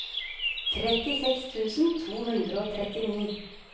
trettiseks tusen to hundre og trettini